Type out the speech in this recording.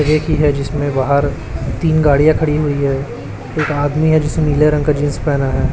एक ही है जिसमें बाहर तीन गाड़ियां खड़ी हुई है एक आदमी है जिसने नीले रंग का जींस पहना है।